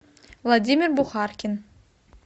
владимир бухаркин